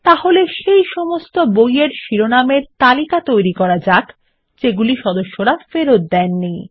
তাহলে সেই সমস্ত বই এর শিরোনামের তালিকা তৈরী করা যাক যেগুলি সদস্যরা ফেরত দেয়নি